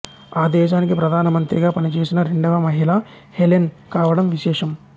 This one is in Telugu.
ఆ దేశానికి ప్రధానమంత్రిగా పనిచేసిన రెండవ మహిళ హెలెన్ కావడం విశేషం